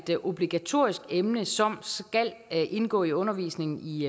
et obligatorisk emne som skal indgå i undervisningen i